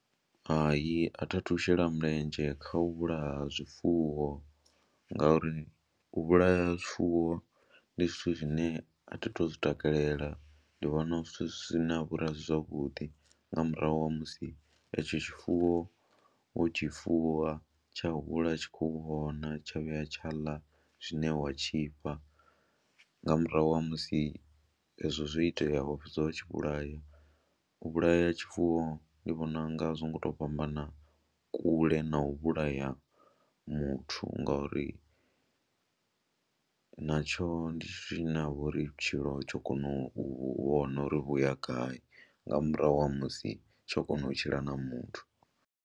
Hai a thi a thu shela mulenzhe kha u vhulaha zwifuwo ngauri u vhulaya zwifuwo ndi zwithu zwine a thi tu zwi takalela, ndi vhona zwithu zwine ha vha uri a si zwavhuḓi nga murahu ha musi etsho tshifuwo wo tshi fuwa, tsha hula u tshi khou vhona tsha vhuya tsha ḽa tshine wa tshi fha nga murahu ha musi ezwo zwo itea wa fhedza wa tshi vhulaya, u vhulaya tshifuwo ndi vhona u nga a zwo ngo tou fhambana kule na u vhulaya muthu ngori natsho ndi tshithu tshine ha vha uri vhutshilo tsho kona u vhona uri vhu ya gai nga murahu ha musi tsho kona u tshila na muthu.